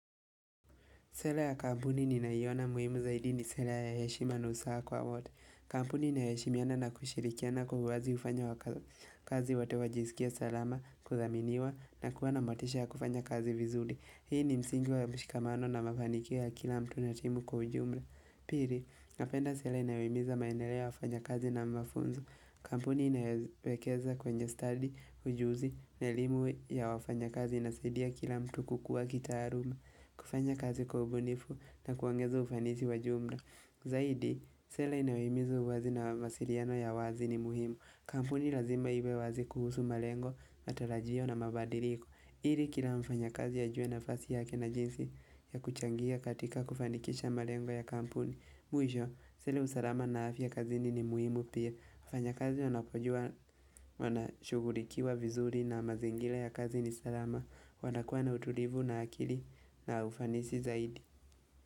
Sera ya kampuni ninayoiona ya muhimu zaidi ni sera ya heshima na usawa kwa wote. Kampuni inayo heshimiana na kushirikiana kwa uwazi hufanya wafanyikazi wote wajiskie salama, kuthaminiwa na kuwa na motisha ya kufanya kazi vizuri. Hii ni msingi wa mshikamano na mafanikio ya kila mtu na timu kwa ujumla. Pili, napenda sera inayohimiza maendeleo wafanyakazi na mafunzo. Kampuni inayowekeza kwenye stadi, ujuzi na elimu ya wafanyakazi inasaidia kila mtu kukuwa kitaaluma. Kufanya kazi kwa ubunifu na kuongeza ufanisi wa jumla. Zaidi, sera inayohimiza uwazi na mawasiliano ya wazi ni muhimu. Kampuni lazima iwe wazi kuhusu malengo, matarajio na mabadiliko ili kila mfanyakazi ajue nafasi yake na jinsi ya kuchangia katika kufanikisha malengo ya kampuni Mwisho, sera ya usalama na afya kazini ni muhimu pia. Mfanyakazi wanapojua wanashughulikiwa vizuri na mazingira ya kazi ni salama, wanakuwa na utulivu na akili na ufanisi zaidi.